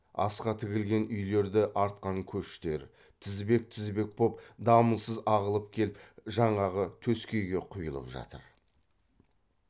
асқа тігілген үйлерді артқан көштер тізбек тізбек боп дамылсыз ағылып келіп жаңағы төскейге құйылып жатыр